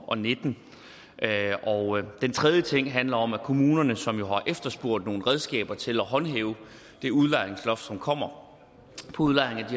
og nitten den tredje ting handler om at kommunerne som jo har efterspurgt nogle redskaber til at håndhæve det udlejningsloft som kommer på udlejning af